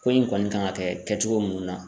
Ko in kɔni kan ka kɛ kɛcogo munnu na.